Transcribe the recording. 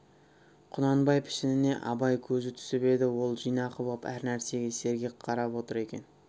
құнанбай пішініне абай көзі түсіп еді ол жинақы боп әр нәрсеге сергек қарап отыр екен